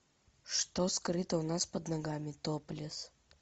что скрыто у нас под ногами топлесс